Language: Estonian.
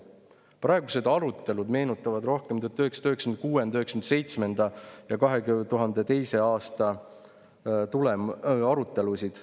Praegused arutelud meenutavad rohkem 1996.–1997. aasta ja 2002. aasta arutelusid.